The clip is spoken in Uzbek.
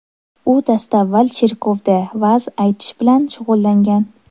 U dastavval cherkovda va’z aytish bilan shug‘ullangan.